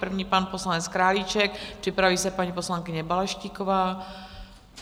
První pan poslanec Králíček, připraví se paní poslankyně Balaštíková.